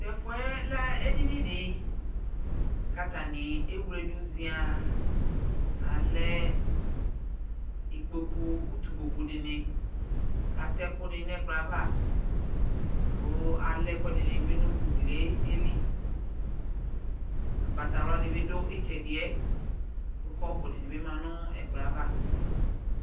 Tʋ ɛfʋɛ lɛ edini di kʋ atani ewledʋ ziaaŋ Alɛ ikpokʋ, utu ikpokʋ di ni kʋ atɛ ɛkʋ ni nʋ ɛkplɔ yɛ ava kʋ alɛ ɛkʋɛdi ni bi nʋ ugli yɛ li Ʋgbatawla di bi dʋ itsɛdi ɛ, kʋ kɔpʋ di bi ma nʋ ɛkplɔ yɛ ava